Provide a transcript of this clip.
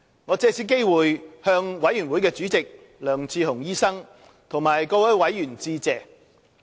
我藉此機會向委員會主席梁智鴻醫生和各位委員致謝。